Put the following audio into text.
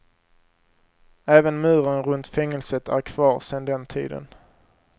Även muren runt fängelset är kvar sen den tiden.